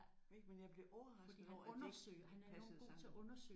Ja ik? Men jeg blev overrasket over at de ikke passede sammen